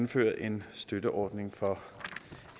indføre en støtteordning for